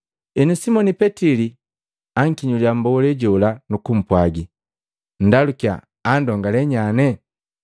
Henu Simoni Petili ankinyulia mbolee jola nukupwagi, “Nndalukia andongale nyane.”